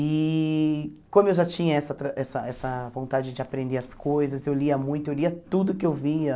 E como eu já tinha essa tra essa essa vontade de aprender as coisas, eu lia muito, eu lia tudo que eu via.